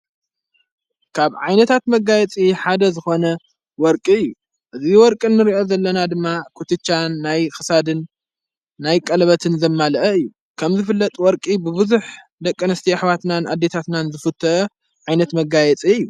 ካብ ዓይነታት መጋየጽ ሓደ ዝኾነ ወርቂ እዩ እዙይ ወርቅን ንርእኦት ዘለና ድማ ኽትቻን ናይ ኽሳድን ናይ ቀለበትን ዘማልአ እዩ ከምዝፍለጥ ወርቂ ብብዙሕ ደቀ ኣነስቲዮ ኣኅዋትናን ኣዴታትናን ዝፉተ ዓይነት መጋየጽ እዩ።